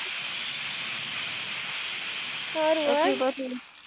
સારું હવે